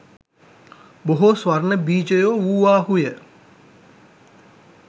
බොහෝ ස්වර්ණ බීජයෝ වූවාහුය